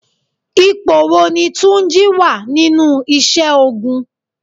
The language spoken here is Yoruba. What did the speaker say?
Ipò wo ni túnjí wá nínú isẹ́ ogun?